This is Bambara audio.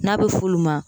N'a bɛ f'olu ma